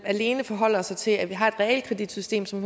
og alene forholde os til at vi har et realkreditsystem som